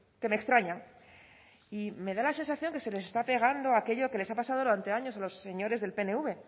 que me extraña y me da la sensación de que se les está pegando aquello que les ha pasado durante años a los señores del pnv